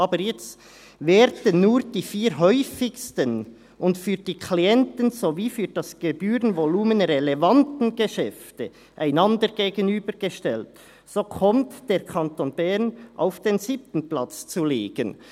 Aber jetzt: Werden nur die vier häufigsten und für die Klienten sowie für das Gebührenvolumen relevanten Geschäfte einander gegenübergestellt, so kommt der Kanton Bern auf den siebten Platz zu liegen.